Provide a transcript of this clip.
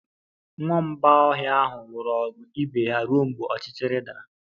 Nwamba ọhịa ahụ lụrụ ọgụ ibe ha ruo mgbe ọchịchịrị dara